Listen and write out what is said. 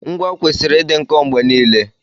Ngwa kwesịrị ịdị nkọ mgbe niile.